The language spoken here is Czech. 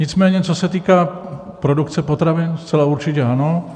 Nicméně co se týká produkce potravin, zcela určitě ano.